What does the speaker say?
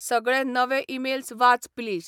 सगळे नवे ईमेल्स वाच प्लीज